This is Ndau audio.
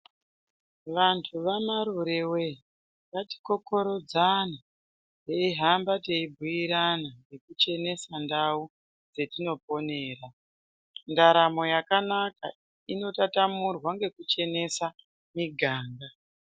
Vanthu vamarure wee, ngatikokorodzane, teihamba teibhuirana ngekuchenesa ndau, dzetinoponera. Ndaramo yakanaka, inotatamurwa ngekuchenesa muganga.